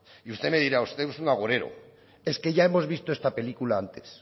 y usted me dirá usted es un agorero es que ya hemos visto esta película antes